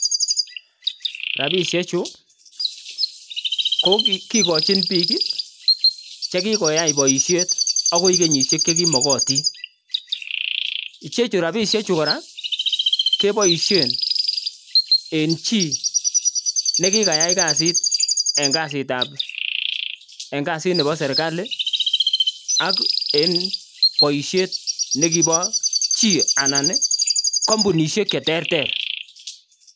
Rabisheju ko kigojin biik che kigoyai boishet agoi kenyishek che kiyomotin. Icheju rabishek chu kora keboishen en chi ne kigayai kasit en kasit nebo serkali ak en boisiiet nekibo chi anan kompunishek che terter.